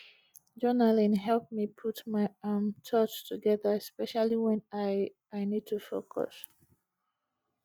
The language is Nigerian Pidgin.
journaling help me put my um thoughts together especially when i i need to focus